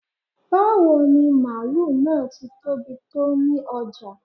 Bawo ni maálù naá tí tóbi tó ni ojá?